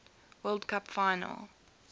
world cup final